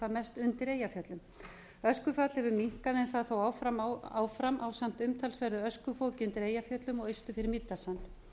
hvað mest undir eyjafjöllum öskufall hefur minnkað en það er þó áfram ásamt umtalsverðu öskufoki undir eyjafjöllum og austur fyrir mýrdalssand